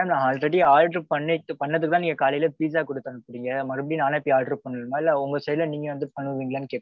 madam நான் already order பண்ணிட்டு பண்ணத தான் நீங்க pizza குடுத்து அனுப்புனீங்க மறுபடியும் நானே போயி order பண்ணனுமா இல்ல உங்க side ல நீங்க வந்து பன்னுவீங்களானு கேக்குறேன்.